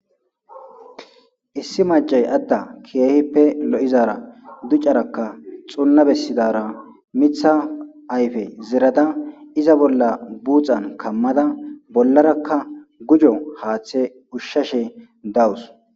issi macay adda keehippe lo7izaara ducarakka xunna bessidara mitha ayfe zerada iza bolla buuxan kammada bollarakka gujo haaththe ushshashe dawus